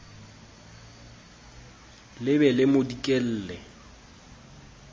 le be le mo dikelle